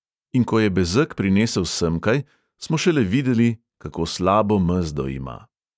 In ko je bezeg prinesel semkaj, smo šele videli, kako slabo mezdo ima.